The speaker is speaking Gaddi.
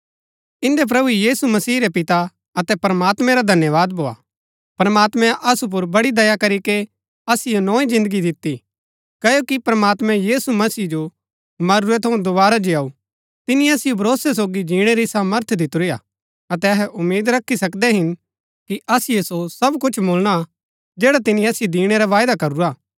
इन्दै प्रभु यीशु मसीह रै पिता अतै प्रमात्मैं रा धन्यवाद भोआ प्रमात्मैं असु पुर बड़ी दया करीके असिओ नोई जिन्दगी दिती क्ओकि प्रमात्मैं यीशु मसीह जो मरूरै थऊँ दोवारा जीयाऊ तिनी असिओ भरोसै सोगी जिणै री सामर्थ दितुरी हा अतै अहै उम्मीद रखी सकदै हिन कि असिओ सो सब कुछ मुळणा जैड़ा तिनी असिओ दिणै रा वायदा करूरा हा